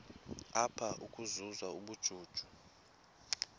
apha ukuzuza ubujuju